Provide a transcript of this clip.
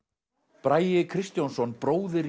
bragi Kristjónsson bróðir